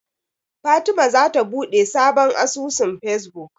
Fatima zata buɗe sabon asusun Fesbuk.